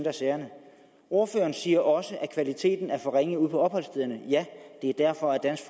af sagerne ordføreren siger også at kvaliteten er for ringe ude på opholdsstederne ja det er derfor dansk